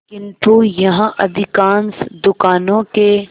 किंतु यहाँ अधिकांश दुकानों के